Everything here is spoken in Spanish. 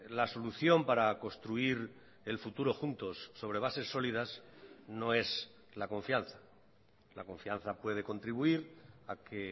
la solución para construir el futuro juntos sobre bases sólidas no es la confianza la confianza puede contribuir a que